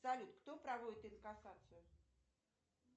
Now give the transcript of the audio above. салют кто проводит инкассацию